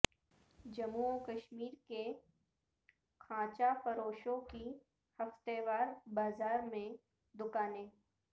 جموں و کشمیر کے خانچا فروشوں کی ہفتہ وار بازار میں دوکانیں